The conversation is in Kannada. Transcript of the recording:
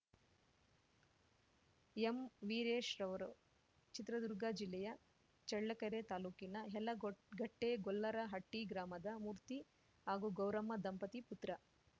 ಎಂ ವೀರೇಶ್‌ರವರು ಚಿತ್ರದುರ್ಗ ಜಿಲ್ಲೆಯ ಚಳ್ಳಕೆರೆ ತಾಲೂಕಿನ ಯಲಗೋಟ್ ಗಟ್ಟೆಗೊಲ್ಲರಹಟ್ಟಿಗ್ರಾಮದ ಮೂರ್ತಿ ಹಾಗೂ ಗೌರಮ್ಮ ದಂಪತಿ ಪುತ್ರ